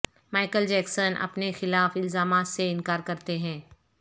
Michael Jackson اپنے خلاف الزامات سے انکار کرتے ہیں